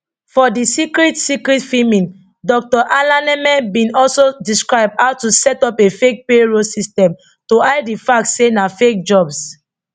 for di secret secret filming dr alaneme bin also describe how to set up a fake payroll system to hide di fact say na fake jobs